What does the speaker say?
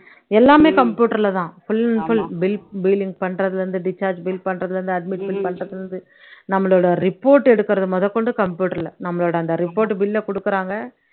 எல்லாமே computer ல தான் full and full bill billing பண்றதுல இருந்து discharge bill பண்றதுல இருந்து admit bill பண்றதுல இருந்து நம்மளுடை report எடுக்குறது முதற்கொண்டு computer ல நம்மளோட அந்த report bill அ கொடுக்கிறாங்க